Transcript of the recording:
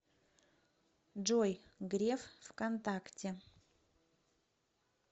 джой греф в контакте